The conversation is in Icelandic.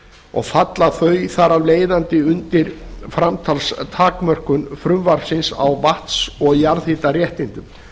og falla þau þar af leiðandi undir framsalstakmörkun frumvarpsins á vatns og jarðhitaréttindum